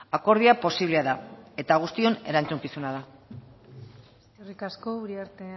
akordioa posiblea da eta guztion erantzukizuna da eskerrik asko uriarte